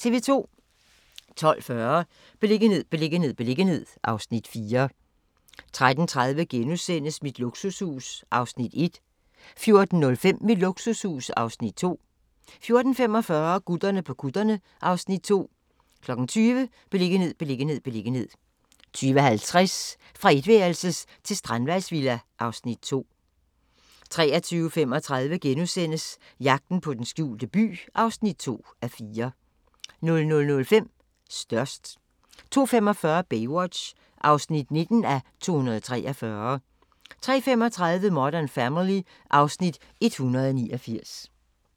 12:40: Beliggenhed, beliggenhed, beliggenhed (Afs. 4) 13:30: Mit luksushus (Afs. 1) 14:05: Mit luksushus (Afs. 2) 14:45: Gutterne på kutterne (Afs. 2) 20:00: Beliggenhed, beliggenhed, beliggenhed 20:50: Fra etværelses til strandvejsvilla (Afs. 2) 23:35: Jagten på den skjulte by (2:4)* 00:05: Størst 02:45: Baywatch (19:243) 03:35: Modern Family (Afs. 189)